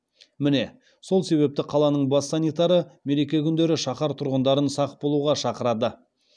міне сол себепті қаланың бас санитары мереке күндері шаһар тұрғындарын сақ болуға шақырады